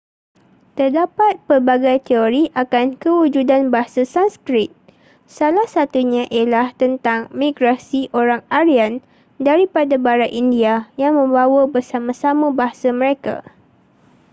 terdapat pelbagai teori akan kewujudan bahasa sanskrit salah satunya ialah tentang migrasi orang aryan daripada barat india yang membawa bersama-sama bahasa mereka